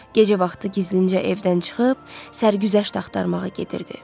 Gecə vaxtı gizlincə evdən çıxıb, sərgüzəşt axtarmağa gedirdi.